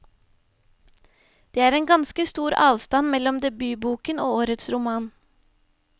Det er en ganske stor avstand mellom debutboken og årets roman.